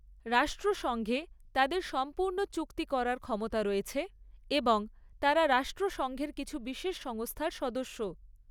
রাষ্ট্রসংঘে তাদের সম্পূর্ণ চুক্তি করার ক্ষমতা রয়েছে এবং তারা রাষ্ট্রসংঘের কিছু বিশেষ সংস্থার সদস্য।